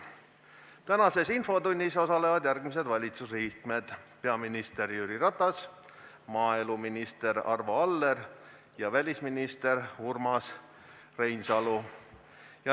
Tänases infotunnis osalevad järgmised valitsusliikmed: peaminister Jüri Ratas, maaeluminister Arvo Aller ja välisminister Urmas Reinsalu.